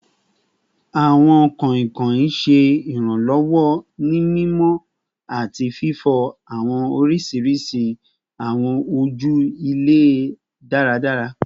Awọn Sponges ṣe iranlọwọ ni mimọ ati fifọ awọn oriṣiriṣi awọn oju ilẹ daradara